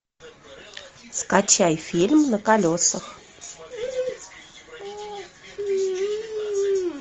скачай фильм на колесах